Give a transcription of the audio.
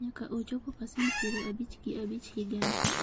nyaka ochopo pasent piero abich gi abich higani